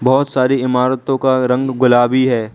बहुत सारी इमारतों का रंग गुलाबी है।